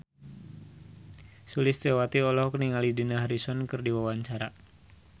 Sulistyowati olohok ningali Dani Harrison keur diwawancara